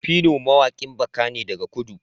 phyno mawaƙin baka ne daga kudu